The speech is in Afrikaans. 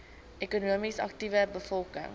ekonomies aktiewe bevolking